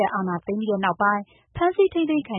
ပ် အာဏာသိမ်းပြီးနောက်ပိုင်း ဖမ်းဆီး ထိန်းသိမ်းခံ